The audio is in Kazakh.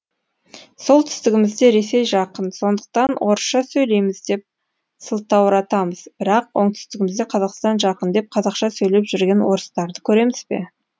солтүстігімізге ресей жақын сондықтан орысша сөйлейміз деп сылтауратамыз бірақ оңтүстігімізде қазақстан жақын деп қазақша сөйлеп жүрген орыстарды көремізбе